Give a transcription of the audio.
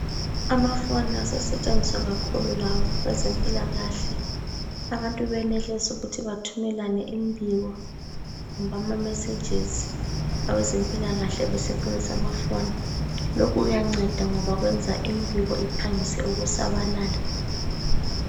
Amafoni asesetshenziswa kakhulu lawo kwezempilakahle. Abantu benelise ukuthi bathumelane imibiko kumbe ama messages awezempilakahle besebenzisa amafoni. Lokhu kuyanceda ngoba kwenza imibiko iphangise ukusabalala.